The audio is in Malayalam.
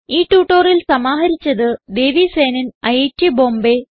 ഈ ട്യൂട്ടോറിയൽ സമാഹരിച്ചത് ദേവി സേനൻ ഐറ്റ് ബോംബേ